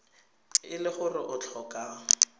e le gore o tlhoka